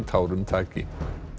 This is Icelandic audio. tárum taki